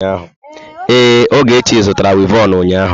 Ee, Ogechi zụtara wivọnụ ụnyaahụ.